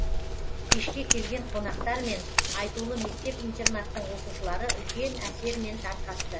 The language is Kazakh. кешке келген қонақтармен айтулы мектеп интернаттың оқушылары үлкен әсермен тарқасты